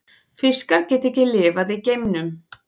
Fiskar geta ekki lifað í geimnum.